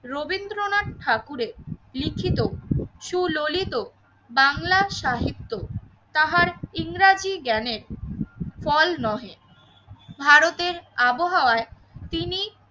রবীন্দ্রনাথ ঠাকুরের লিখিত সুলিত বাংলার সাহিত্য তাহার ইংরেজি জ্ঞানের ফল নহে ভারতের আবহাওয়ায় তিনি